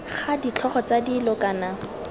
ga ditlhogo tsa dilo kana